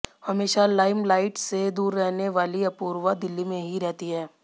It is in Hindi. हमेशा लाइमलाइट से दूर रहेने वाली अपूर्वा दिल्ली में ही रहती हैं